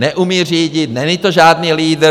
Neumí řídit, není to žádný lídr.